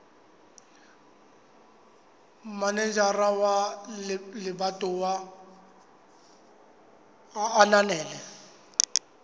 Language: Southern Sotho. manejara wa lebatowa a ananela